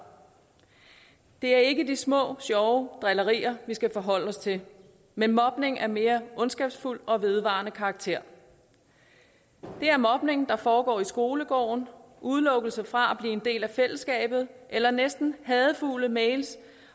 det er ikke de små sjove drillerier vi skal forholde os til men mobning af mere ondskabsfuld og vedvarende karakter det er mobning der foregår i skolegården udelukkelse fra at blive en del af fællesskabet eller næsten hadefulde mails